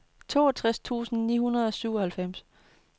toogtres tusind ni hundrede og syvoghalvfems